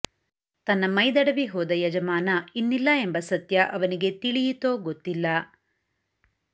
ತನ್ನ ಮೈ ದಡವಿ ಹೋದ ಯಜಮಾನ ಇನ್ನಿಲ್ಲ ಎಂಬ ಸತ್ಯ ಅವನಿಗೆ ತಿಳಿಯಿತೋ ಗೊತ್ತಿಲ್ಲ